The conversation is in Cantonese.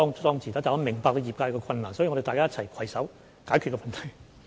但是，我明白業界的困難，所以大家要一起攜手解決問題。